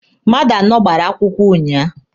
Mmadụ anọ gbara akwụkwọ ụnyaahụ.